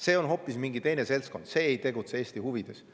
See on mingi hoopis teine seltskond, see ei tegutse Eesti huvides.